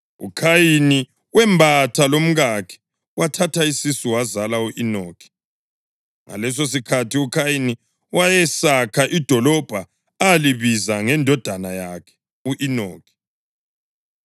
UKhayini wembatha lomkakhe, wathatha isisu wazala u-Enoki. Ngalesosikhathi uKhayini wayesakha idolobho alibiza ngendodana yakhe u-Enoki.